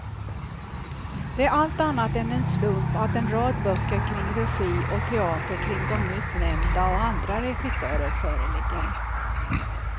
Det är allt annat än en slump att en rad böcker kring regi och teater kring de nyss nämnda och andra regissörer föreligger.